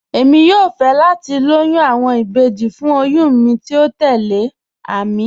Èmi yóò fẹ́ láti lòyún awọn ìbéjì fún òyùn mi tí o tẹlẹ̀, Àmín.